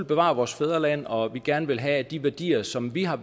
bevare vores fædreland og vi gerne vil have at de værdier som vi har